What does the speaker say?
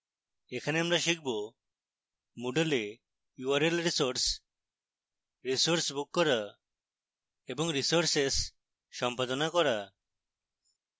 এখানে আমরা শিখব: